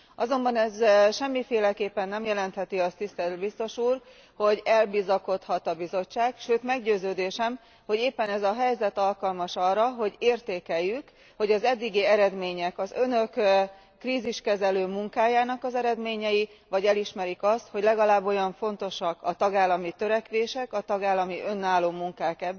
Azonban ez semmiféleképpen nem jelentheti azt, tisztelt biztos úr, hogy elbízhatja magát a Bizottság, sőt meggyőződésem, hogy éppen ez a helyzet alkalmas arra, hogy értékeljük, hogy az eddigi eredmények az Önök válságkezelő munkájának az eredményei e, vagy elismerik azt, hogy legalább olyan fontosak a tagállami törekvések, a tagállami önálló munkák,